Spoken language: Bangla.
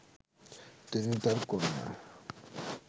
তিনি তার কন্যা